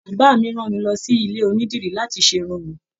Bàbá mí rán mí lọ sí ilé onídìrí láti ṣe Irun mí.